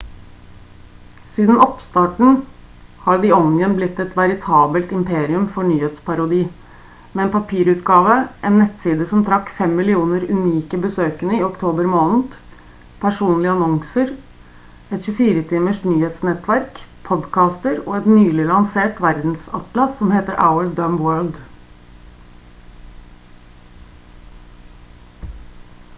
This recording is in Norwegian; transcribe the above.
siden oppstarten har the onion blitt et veritabelt imperium for nyhetsparodi med en papirutgave en nettside som trakk 5 000 000 unike besøkende i oktober måned personlige annonser et 24 timers nyhetsnettverk podkaster og et nylig lansert verdensatlas som heter our dumb world